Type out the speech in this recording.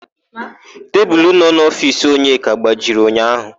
Tebulu nọ n'ofiisi Onyeka gbajiri ụnyaahụ.